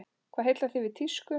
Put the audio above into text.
Hvað heillar þig við tísku?